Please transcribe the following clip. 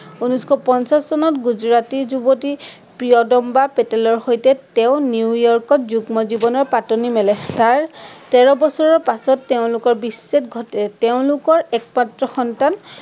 উনৈচশ পঁঞ্চাশ চনত গুজৰাটী যুৱতী প্ৰিয়ম্বদা পেটেলৰ সৈতে তেঁও নিউয়ৰ্কত যুগ্ম জীৱনৰ পাটনি মেলে। তাৰ তেৰ বছৰৰ পাছত তেঁওলোকৰ বিচ্ছেদ ঘটে। তেঁওলোকৰ একমাত্ৰ সন্তান